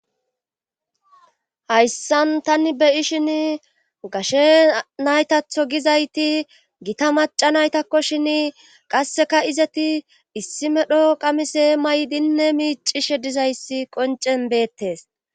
hayssan tani be'ishin gashe naytatho gizayti gita maca naytakko shin qasseka izeti issi medho qamise maydinne miicishe dizayssi qoncen beettes